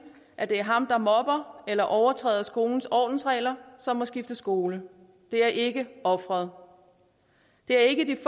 at det er ham der mobber eller overtræder skolens ordensregler som må skifte skole det er ikke offeret det er ikke de